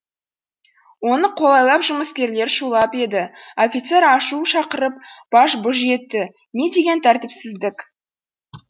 оны қолайлап жұмыскерлер шулап еді офицер ашу шақырып баж бұж етті не деген тәртіпсіздік